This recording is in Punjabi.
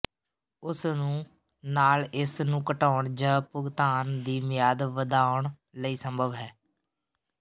ਉਸ ਨੂੰ ਨਾਲ ਇਸ ਨੂੰ ਘਟਾਉਣ ਜ ਭੁਗਤਾਨ ਦੀ ਮਿਆਦ ਵਧਾਉਣ ਲਈ ਸੰਭਵ ਹੈ